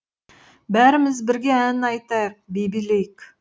бәріміз бірге ән айтайық би билейік